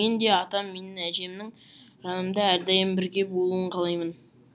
мен де атам мен әжемнің жанымда әрдайым бірге болуын қалаймын